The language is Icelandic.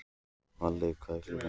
Valey, hvað er klukkan?